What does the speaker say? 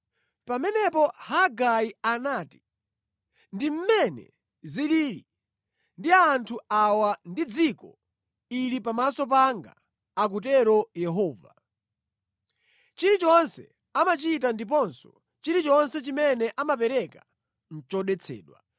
Pamenepo Hagai anati, “ ‘Ndi mmene zilili ndi anthu awa ndi dziko ili pamaso panga,’ akutero Yehova. ‘Chilichonse amachita ndiponso chilichonse chimene amapereka nʼchodetsedwa.